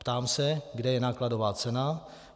Ptám se, kde je nákladová cena.